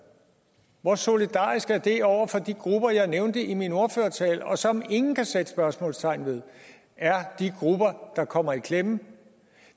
hvor solidarisk er det over for de grupper jeg nævnte i min ordførertale og som ingen kan sætte spørgsmålstegn ved er de grupper der kommer i klemme